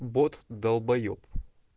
бот долбаеб